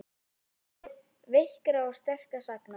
Þátíð veikra og sterkra sagna.